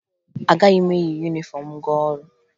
Agaghị m eyi yunifọmụ m gaa ọrụ